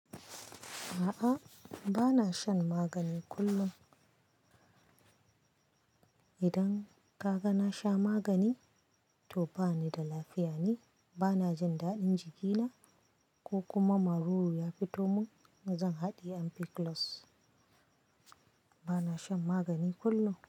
A'a, ba na shan magani kullum. Idan ka ga na sha magani, to ba ni da lafiya ne, ba na jin daɗin jikina ko kuma maruru ya fito mun, zan haɗiye ampiclos. Ba na shan magani kullum.